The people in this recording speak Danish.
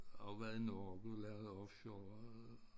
Har jo været i Norge og lavet offshore og